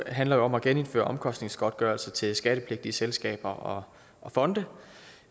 handler om at genindføre omkostningsgodtgørelse til skattepligtige selskaber og fonde